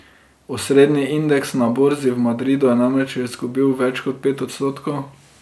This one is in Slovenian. Osrednji indeks na borzi v Madridu je namreč izgubil več kot pet odstotkov.